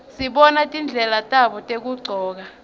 sibona tindlela tabo tekugcoka